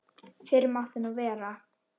Fyrr mátti nú vera!